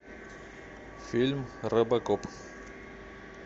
фильм робокоп